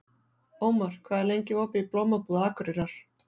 Ómar, hvað er lengi opið í Blómabúð Akureyrar?